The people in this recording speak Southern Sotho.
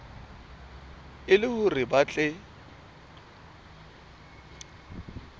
e le hore ba tle